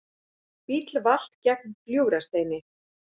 Bíll valt gegnt Gljúfrasteini